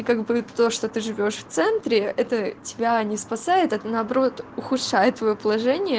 и как бы то что ты живёшь в центре это тебя не спасает а наоборот ухудшает твоё положение